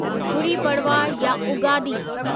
गुड़ी पड़वा या उगादी